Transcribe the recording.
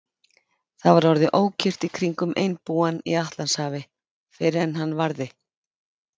Það var orðið ókyrrt í kringum einbúann í Atlantshafi, fyrr en hann varði.